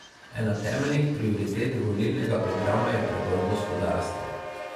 Ena temeljnih prioritet volilnega programa je preboj gospodarstva.